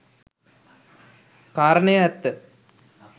කාරණය ඇත්ත.